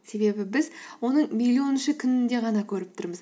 себебі біз оны миллионыншы күнінде ғана көріп тұрмыз